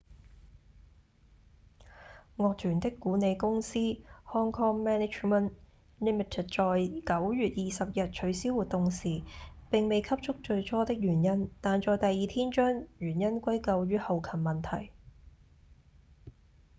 樂團的管理公司 hk management inc. 在9月20日取消活動時並未給出最初的原因但在第二天將原因歸咎於後勤問題